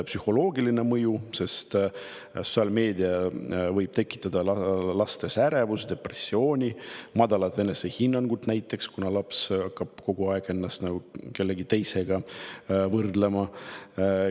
Psühholoogiline mõju: sotsiaalmeedia võib tekitada lastes ärevust, depressiooni ja madalat enesehinnangut, kuna laps hakkab kogu aeg ennast kellegi teisega võrdlema.